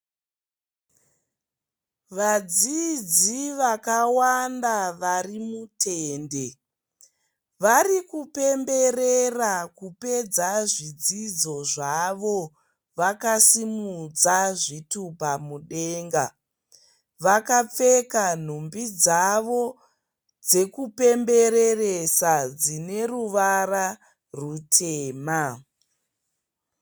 Vadzidzi vakawanda vari mutende varikupemberera kupedza zvidzidzo zvavo vakasimudza zvitupa mudenga vakapfeka nhumbi dzavo dzekupemberesa dzineruvara rutema.